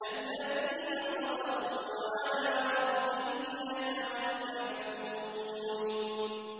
الَّذِينَ صَبَرُوا وَعَلَىٰ رَبِّهِمْ يَتَوَكَّلُونَ